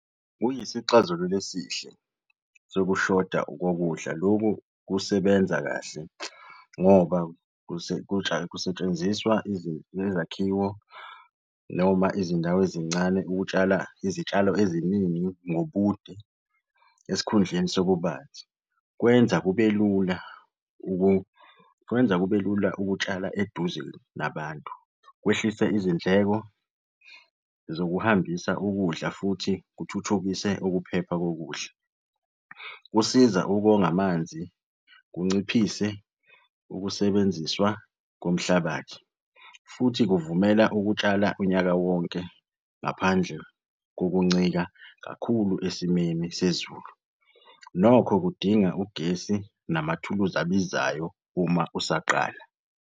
Kuyisixazululo esihle sokushoda kokudla. Lokhu kusebenza kahle ngoba kusetshenziswa zezakhiwo noma izindawo ezincane ukutshala izitshalo eziningi ngobude esikhundleni sobubanzi. Kwenza kube lula kwenza kube lula ukutshala eduze nabantu. Kwehlise izindleko zokuhambisa ukudla futhi kuthuthukise ukuphepha kokudla. Kusiza ukonga amanzi, kunciphise ukusebenziswa komhlabathi futhi kuvumela ukutshala unyaka wonke ngaphandle kokuncika kakhulu esimeni sezulu. Nokho kudinga ugesi namathuluzi abizayo uma usaqala.